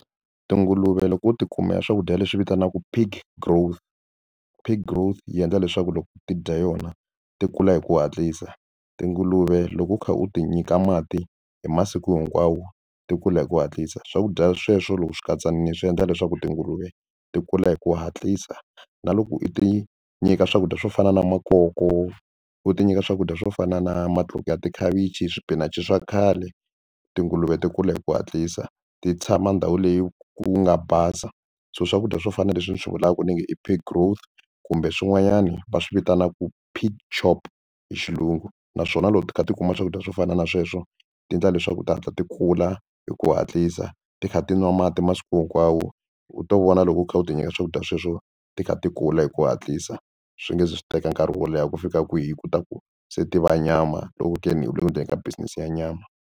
Tinguluve lo ku ti kumela swakudya leswi vitanaka pig growth pig growth yi endla leswaku loko ti dya yona ti kula hi ku hatlisa. Tinguluve loko u kha u ti nyika mati hi masiku hinkwawo ti kula hi ku hatlisa swakudya sweswo loko swi katsanile swi endla leswaku tinguluve ti kula hi ku hatlisa na loko u ti nyika swakudya swo fana na makoko u ti nyika swakudya swo fana na matluka ya tikhavichi swipinachi swa khale tinguluve ti kula hi ku hatlisa ti tshama ndhawu leyi ku nga basa so swakudya swo fana na leswi ni swi vulaka ku ni nge i pig growth kumbe swin'wanyani va swi vitanaka pig chop hi xilungu naswona loko ti kha ti kuma swakudya swo fana na sweswo ti endla leswaku ti hatla ti kula hi ku hatlisa ti kha ti nwa mati masiku hinkwawo u ta vona loko u kha u ti nyika swakudya sweswo ti kha ti kula hi ku hatlisa swi nge zi swi teka nkarhi wo leha ku fika kwihi ku ta ku se tiva nyama loko ku ke ni u le ku ndleni ka business ya nyama.